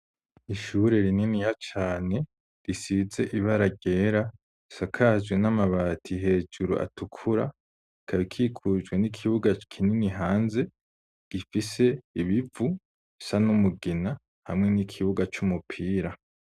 Ishure rininiya cane, risize ibara ryera, risakaje n'amabati hejuru atukura, ikaba ikikujwe n'ikibuga kinini hanze gifise ibivu bisa n'umugina hamwe n'ikibuga c'umupira.